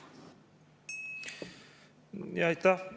Aitäh!